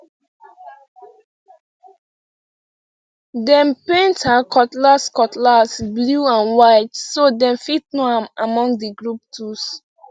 dem paint her cutlass cutlass blue and white so dem fit know am among the group tools